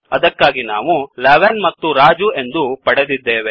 ಅದಕ್ಕಾಗಿ ನಾವು 11 ಮತ್ತು ರಾಜು ಎಂದು ಪಡೆದಿದ್ದೇವೆ